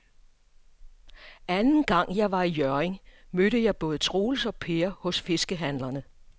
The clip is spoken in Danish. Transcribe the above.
Anden gang jeg var i Hjørring, mødte jeg både Troels og Per hos fiskehandlerne.